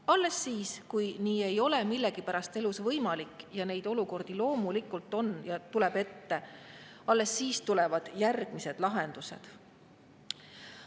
Alles siis, kui nii ei ole millegipärast elus võimalik – neid olukordi loomulikult on, neid tuleb ette –, tulevad järgmised lahendused.